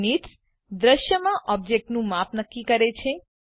units દૃશ્યમાં ઓબ્જેક્ટોનું માપ નક્કી કરે છે